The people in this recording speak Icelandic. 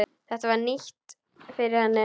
Þetta var nýtt fyrir henni.